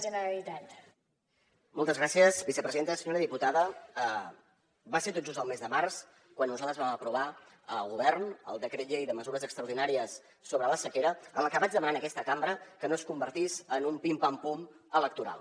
senyora diputada va ser tot just al mes de març quan nosaltres vam aprovar a govern el decret llei de mesures extraordinàries sobre la sequera en el que vaig demanar en aquesta cambra que no es convertís en un pim pam pum electoral